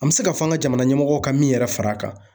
An bɛ se ka fɔ an ka jamana ɲɛmɔgɔ ka min yɛrɛ fara a kan.